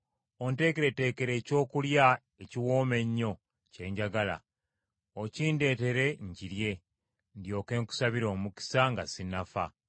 Onteekereteekere ekyokulya ekiwooma ennyo kye njagala, okindeetere nkirye, ndyoke nkusabire omukisa nga sinnafa.”